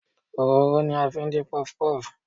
Òróró ni a fi ń dín puff-puff.